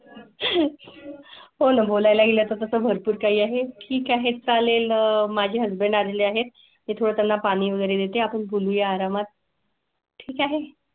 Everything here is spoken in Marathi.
हो न बोलाय ला गेल्या चा भरपूर काही आहे. ठीक आहे चालेल माझे हसबंड आलेले आहेत ते थोडं त्यांना पाणी वगैरे देते. आपण बोलू या आरामात. ठीक आहे.